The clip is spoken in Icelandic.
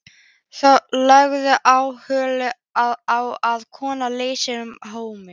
Þorbjörn: Leggurðu áherslu á að kona leysi hana af hólmi?